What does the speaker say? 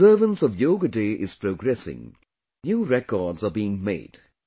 As the observance of Yoga Day is progressing, even new records are being made